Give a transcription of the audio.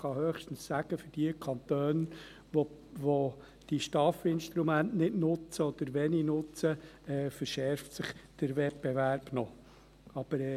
Man kann höchstens sagen, dass sich für Kantone, die diese STAF-Instrumente nicht oder wenig nutzen, der Wettbewerb noch verschärft.